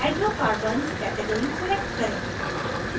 hydrocarbons category select करें